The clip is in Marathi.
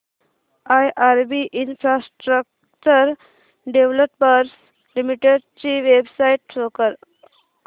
आयआरबी इन्फ्रास्ट्रक्चर डेव्हलपर्स लिमिटेड ची वेबसाइट शो करा